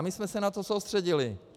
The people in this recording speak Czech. A my jsme se na to soustředili.